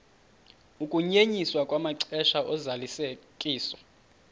ukunyenyiswa kwamaxesha ozalisekiso